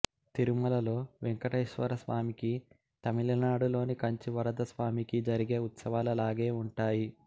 తిరుమలలో వెంకటేశ్వరస్వామికి తమిళనాడులోని కంచి వరద రాజస్వామికి జరిగే ఉత్సవాల లాగే ఉంటాయి